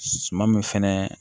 Suman min fɛnɛ